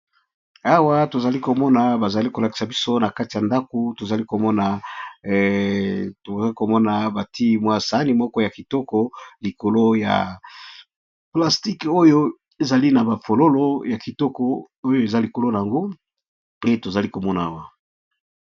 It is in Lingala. Awa tozali komona nakati ya ndako tozali komona saani ya kitoko ya plastique eza na ba fololo nde tozali komona.